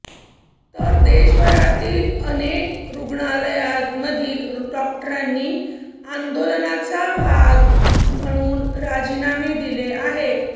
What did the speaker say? तर देशभरातील अनेक रूग्णालयांधील डॅाक्टरांनी आंदोलनाचा भाग म्हणुन राजीनामे दिले आहेत